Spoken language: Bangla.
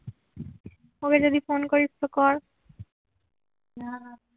ওকে যদি ফোন করিস তো কর